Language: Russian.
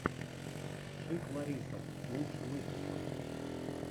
шик лариса лучший выпуск